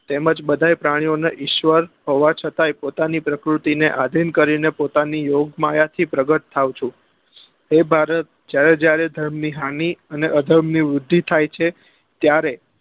તેમજ બધાય પ્રાણીઓ ના ઈશ્વર હોવા છતાય પોતાની પ્રકૃતિ ને આધીન કરી ને પોતાની યોગ માયા થી પ્રગટ થાય છે એ ભારત જયારે જયારે ધર્મ ની હામી અને અ ધર્મ ની વૃદ્ધી થાય છે ત્યારે